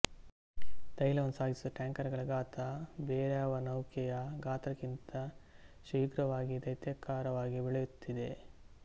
ತೈಲವನ್ನು ಸಾಗಿಸುವ ಟ್ಯಾಂಕರುಗಳ ಗಾತ್ರ ಬೇರಾವ ನೌಕೆಯ ಗಾತ್ರಕ್ಕಿಂತ ಶೀಘ್ರವಾಗಿ ದೈತ್ಯಾಕಾರವಾಗಿ ಬೆಳೆಯುತ್ತಿದೆ